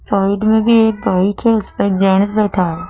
Side में भी एक बाइक है उसपे जेंट्स बैठा है।